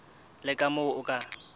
le ka moo o ka